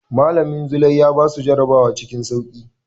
Malamin Zulai ya basu jarabawa cikin sauƙi.